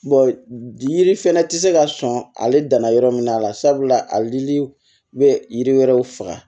yiri fɛnɛ ti se ka sɔn ale danna yɔrɔ min na sabula alilii bɛ yiri wɛrɛw faga